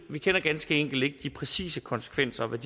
vi kender ganske enkelt ikke de præcise konsekvenser vi